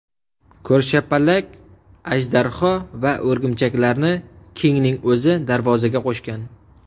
Ko‘rshapalak, ajdarho va o‘rgimchaklarni Kingning o‘zi darvozaga qo‘shgan.